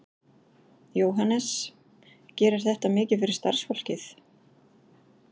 Jóhannes: Gerir þetta mikið fyrir starfsfólkið?